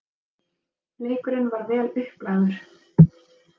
Leikurinn var vel upplagður.